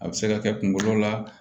A bɛ se ka kɛ kunkolo la